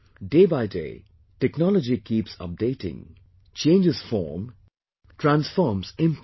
Day by day, technology keeps updating, changes form, transforms its impact